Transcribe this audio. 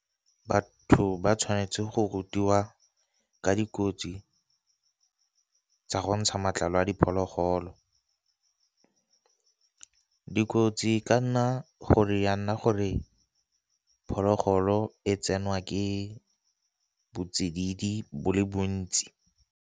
Batho ba tshwanetse go rutiwa ka dikotsi tsa go ntsha matlalo a diphologolo, dikotsi ka nna gore ya nna gore phologolo e tsenwa ke bo tsididi bo le bontsi.